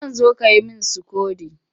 Zan zo ka yi min sikodo